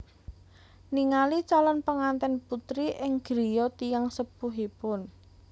Ningali calon pengantèn putri ing griya tiyang sepuhipun